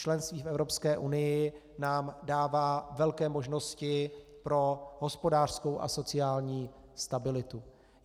Členství v Evropské unii nám dává velké možnosti pro hospodářskou a sociální stabilitu.